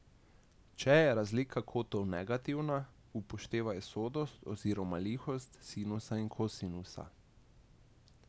Če je razlika kotov negativna, upoštevaj sodost oziroma lihost sinusa in kosinusa.